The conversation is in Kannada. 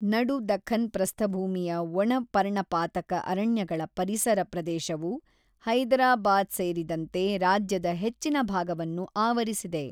ನಡು ದಖನ್ ಪ್ರಸ್ಥಭೂಮಿಯ ಒಣ ಪರ್ಣಪಾತಕ ಅರಣ್ಯಗಳ ಪರಿಸರ ಪ್ರದೇಶವು ಹೈದರಾಬಾದ್ ಸೇರಿದಂತೆ ರಾಜ್ಯದ ಹೆಚ್ಚಿನ ಭಾಗವನ್ನು ಆವರಿಸಿದೆ.